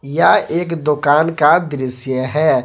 यह एक दुकान का दृश्य है।